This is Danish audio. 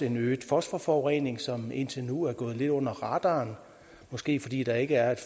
en øget fosforforurening som indtil nu er gået lidt under radaren måske fordi der ikke er et